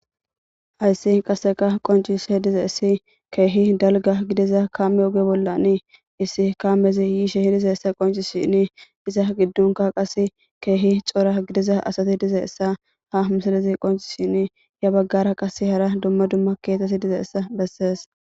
Haysi qaseka qoncishe dizaysi keeh dalga gidiza kaame oge bolla issi kaaamezi yishe dizaysa qoncisishn iza gidonka qase Keehi cora gidiza asati dizaysa ha misilez qoncisishn ya bagara qase hara dumma dumma kethati dizaysa beses.